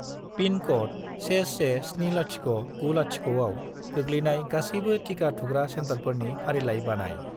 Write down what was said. Pin code 117090 आव गोग्लैनाय गासैबो टिका थुग्रा सेन्टारफोरनि फारिलाइ बानाय।